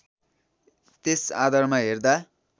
त्यस आधारमा हेर्दा